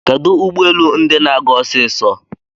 Kedu ụgbọelu ndi na-aga osiso?